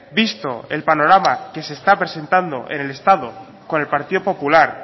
visto el panorama que se está presentando en el estado con el partido popular